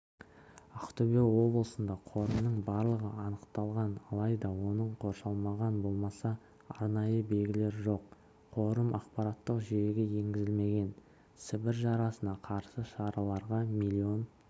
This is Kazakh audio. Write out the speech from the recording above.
ақтөбе облысында қорымның барлығы анықталған алайда оның қоршалмаған болмаса арнайы белгілер жоқ қорым ақпараттық жүйеге енгізілмеген сібір жарасына қарсы шараларға млн